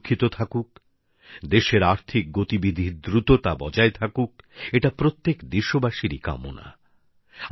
মানুষ সুরক্ষিত থাকুক দেশের আর্থিক গতিবিধির দ্রুততা বজায় থাকুক এটা প্রত্যেক দেশবাসীরই কামনা